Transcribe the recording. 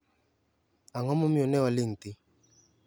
Ang'o momiyo ne waling' thi?